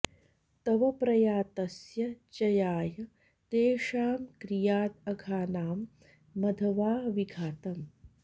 तव प्रयातस्य जयाय तेषां क्रियाद् अघानां मघवा विघातम्